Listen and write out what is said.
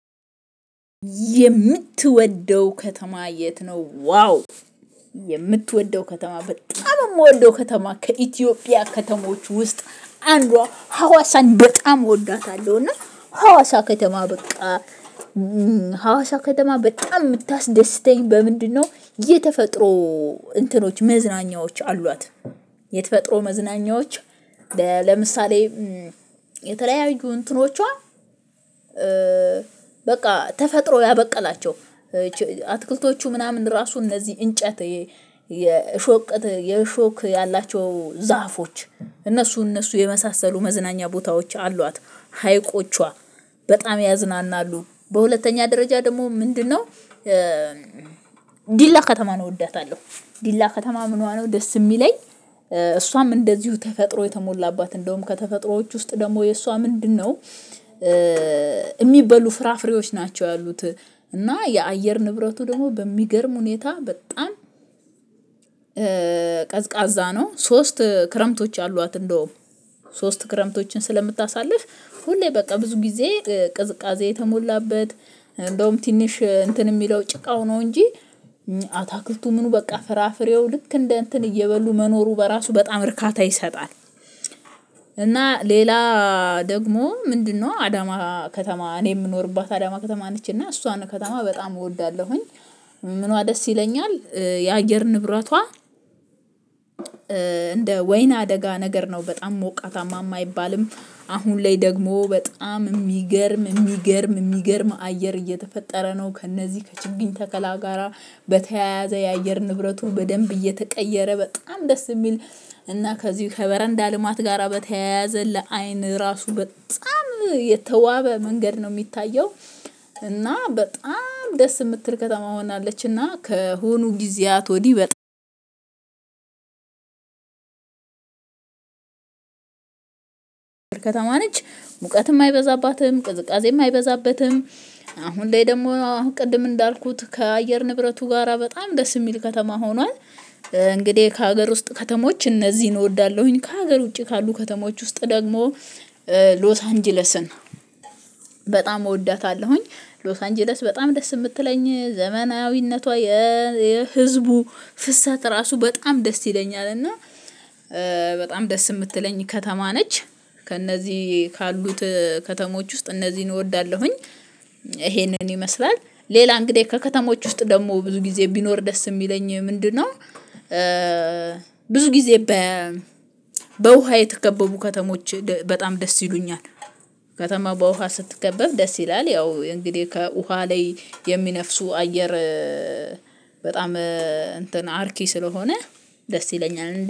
የምትወደው ከተማ የት ነው? ዋው የምትወደው ከተማ በጣም የምወደው ከተማ ከኢትዮጵያ ከተሞች ውስጥ አንዷ ሀዋሳን በጣም እወዳታለሁ። እና ሀዋሳ ከተማ በቃ ሀዋሳ ከተማ በጣም የምታስደስተኝ በምንድነው? የተፈጥሮ እንትኖች መዝናኛዎች አሏት የተፈጥሮ መዝናኛዎች። ለምሳሌ የተለያዩ እንትኖቿ በቃ ተፈጥሮ ያበቀላቸው አትክልቶቹ ምናምን ራሱ እነዚህ እንጨት የእሾክ የእሾክ ያላቸው ዛፎች እነሱ እነሱ የመሳሰሉ መዝናኛ ቦታዎች አሏት ሀይቆቿ በጣም ያዝናናሉ። በሁለተኛ ደረጃ ደግሞ ምንድነው? ዲላ ከተማ ነው እወዳታለሁ። ዲላ ከተማ ምንዋ ነው ደስ የሚለኝ። እሷም እንደዚሁ ተፈጥሮ የተሞላባት እንደውም ከተፈጥሮዎች ውስጥ ደግሞ የእሷ ምንድነው? የሚበሉ ፍራፍሬዎች ናቸው ያሉት እና የአየር ንብረቱ ደግሞ በሚገርም ሁኔታ በጣም ቀዝቃዛ ነው። ሶስት ክረምቶች አሏት። እንደውም ሶስት ክረምቶችን ስለምታሳልፍ ሁሌ በቃ ብዙ ጊዜ ቅዝቃዜ የተሞላበት እንደውም ትንሽ እንትን የሚለው ጭቃው ነው እንጂ አታክልቱ ምኑ በቃ ፍራፍሬው ልክ እንደ እንትን እየበሉ መኖሩ በራሱ በጣም እርካታ ይሰጣል። እና ሌላ ደግሞ ምንድነው? አዳማ ከተማ እኔ የምኖርባት አዳማ ከተማ ነች እና እሷን ከተማ በጣም እወዳለሁኝ። ምኗ ደስ ይለኛል የአየር ንብረቷ። እንደ ወይና አደጋ ነገር ነው በጣም ሞቃታማም አይባልም አሁን ላይ ደግሞ በጣም የሚገርም የሚገርም የሚገርም አየር እየተፈጠረ ነው። ከእነዚህ ከችግኝ ተከላ ጋራ በተያያዘ የአየር ንብረቱን በደንብ እየተቀየረ በጣም ደስ የሚል እና ከዚሁ ከበረንዳ ልማት ጋራ በተያያዘ ለአይን ራሱ በጣም የተዋበ መንገድ ነው። የሚታየው እና በጣም ደስ የምትል ከተማ ሆናለችና ከሆኑ ጊዜያት ወዲህ በጣም ከተማ ነች ሙቀትም አይበዛባትም ቅዝቃዜም አይበዛበትም። አሁን ላይ ደግሞ ቅድም እንዳልኩት ከአየር ንብረቱ ጋራ በጣም ደስ የሚል ከተማ ሆኗል። እንግዲህ ከሀገር ውስጥ ከተሞች እነዚህን እወዳለሁኝ ከሀገር ውጪ ካሉ ከተሞች ውስጥ ደግሞ ሎስ አንጀለስን በጣም እወዳታለሁኝ። ሎስ አንጀለስ በጣም ደስ የምትለኝ ዘመናዊነቷ የህዝቡ ፍሰት ራሱ በጣም ደስ ይለኛል። እና በጣም ደስ የምትለኝ ከተማ ነች። ከእነዚህ ካሉት ከተሞች ውስጥ እነዚህን እወዳለሁኝ። ይሄንን ይመስላል ሌላ እንግዲህ ከከተሞች ውስጥ ደግሞ ብዙ ጊዜ ቢኖር ደስ የሚለኝ ምንድነው? ብዙ ጊዜ በ በውሃ የተከበቡ ከተሞች በጣም ደስ ይሉኛል። ከተማ በውሃ ስትከበብ ደስ ይላል። ያው እንግዲህ ከውሃ ላይ የሚነፍሱ አየር በጣም እንትን አርኪ ስለሆነ ደስ ይለኛል